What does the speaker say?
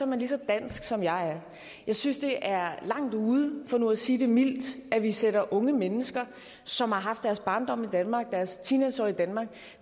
man lige så dansk som jeg er jeg synes det er langt ude for nu at sige det mildt at vi sætter unge mennesker som har haft deres barndom i danmark og deres teenageår i danmark